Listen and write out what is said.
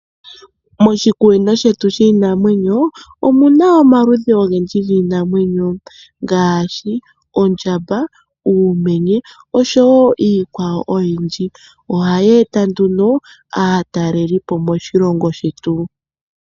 Moshikunino shetu shiinamwenyo omuna omaludhi ogendji giinamwenyo ngaashi ondjamba, uumenye noshowo iikwawo oyindji. Ohaye eta nduno aatalelipo moshilongo shetu.